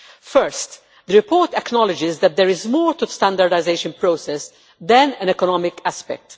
First, the report acknowledges that there is more to the standardisation process than an economic aspect.